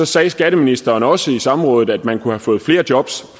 sagde skatteministeren også på samrådet at man kunne have fået flere jobs